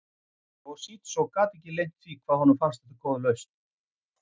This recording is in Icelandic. Toshizo get ekki leynt því hvað honum fannst þetta góð lausn.